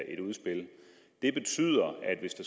et udspil det betyder